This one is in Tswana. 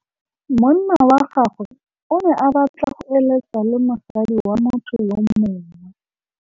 Monna wa gagwe o ne a batla go êlêtsa le mosadi wa motho yo mongwe.